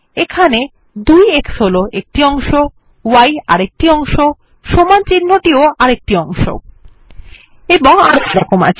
এখানে 2এক্স হল একটি অংশ y আরেকটি অংশ সমান চিহ্নটিও আরেকটি অংশ এবং আরো এরকম আছে